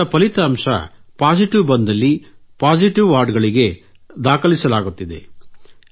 ಇವರ ಫಲಿತಾಂಶ ಪಾಸಿಟಿವ್ ಬಂದಲ್ಲಿ ಪಾಸಿಟಿವ್ ವಾರ್ಡ್ ಗಳಿಗೆ ದಾಖಲಿಸಲಾಗುತ್ತಿದೆ